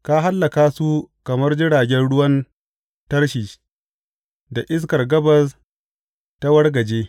Ka hallaka su kamar jiragen ruwan Tarshish da iskar gabas ta wargaje.